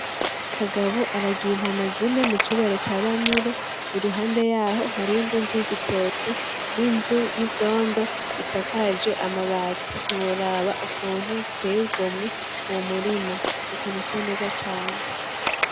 Kagabo aragiye intama zine mucibare ca bamire, iruhande yaho hariho ingundu y'igitoke n'inzu y'ivyondo isakaje amabati ntiworaba ukuntu ziteye igomwe uwo murima ukuntu usa neza cane.